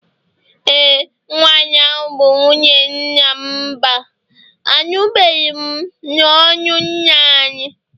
e, nwanyi ahu bu nwunye nnamMba, anụbeghị m n'ọnụ nna anyị